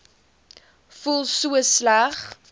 voel so sleg